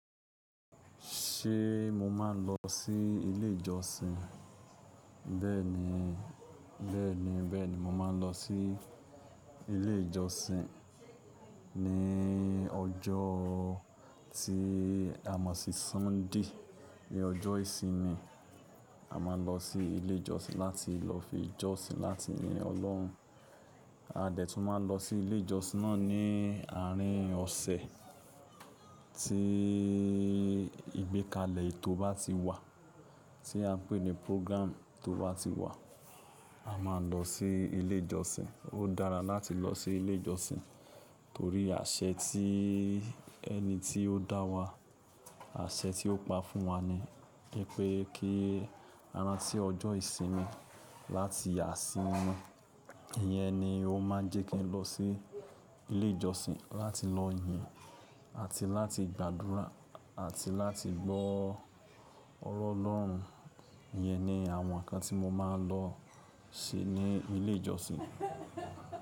Ṣé mo máa ń lọ sí ilé ìjọsìn? Bẹ́ẹ̀ni, bẹ́ẹ̀ni, bẹ́ẹ̀ni, mo máa ń lọ sí ilé ìjọsìn ní ọjọ́ tí a mọ̀ sí Sunday, ní ọjọ́ ìsinmi. A máa ń lọ sí ilé ìjọsìn láti lọ fi jọ́sìn láti yin Ọlọ́run. A dẹ̀ tún máa ń lọ sí ilé ìjọsìn náà ní àárín ọ̀sẹ̀ tí ìgbékalẹ̀ etó bá ti wà, tí a n pè ní program tó bá ti wà, a máa ń lọ sí ilé ìjọsìn. Ó dára láti lọ sí ilé ìjọsìn torí àṣẹ tí ẹni tí ó dá wa, àṣẹ tí ó pa fún wa ni wípé kí a ranti tí ọjọ́ ìsinmi láti yaa si mimo. Iyẹn ni ó máa ń jẹ́ kí n lọ sí ilé ìjọsìn láti lọ yìn àti láti gbàdúrà àti láti gbọ́ ọ̀rọ̀ Ọlọ́run. Iyẹn ni àwọn nǹkan tí mo máa ń lọ ṣe ní ilé ìjọsìn.